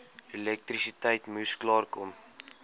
elektrisiteit moes klaarkom